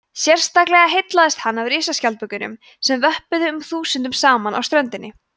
sérstaklega heillaðist hann af risaskjaldbökunum sem vöppuðu um þúsundum saman á ströndinni